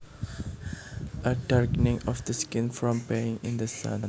A darkening of the skin from being in the sun